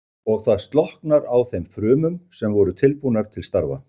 Og það slokknar á þeim frumum sem voru tilbúnar til starfa.